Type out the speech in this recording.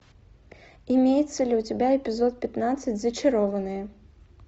имеется ли у тебя эпизод пятнадцать зачарованные